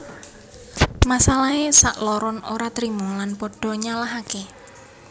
Masalahé sakloron ora terima lan pada nyalahaké